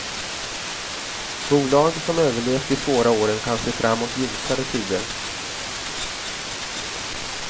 Bolag som överlevt de svåra åren kan se fram mot ljusare tider.